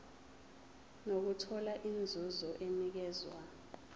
nokuthola inzuzo enikezwa